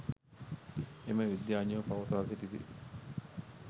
එම විද්‍යාඥයෝ පවසා සිටිති